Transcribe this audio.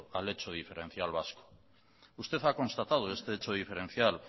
al hecho diferencial vasco usted ha constatado este hecho diferencial